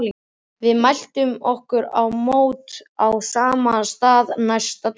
Við mæltum okkur mót á sama stað næsta dag.